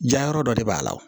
Jayɔrɔ dɔ de b'a la wo